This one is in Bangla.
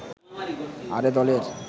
আর এ দলের